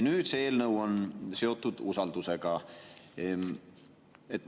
Nüüd on see eelnõu seotud usaldamisega.